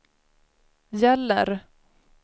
gäller